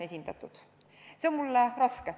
See on mulle raske.